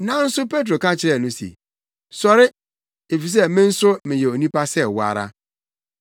Nanso Petro ka kyerɛɛ no se, “Sɔre, efisɛ me nso meyɛ onipa sɛ wo ara.”